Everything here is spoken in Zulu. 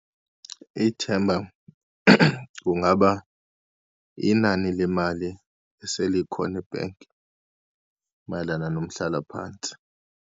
Ithemba kungaba inani lemali eselikhona ebhanki mayelana nomhlalaphansi.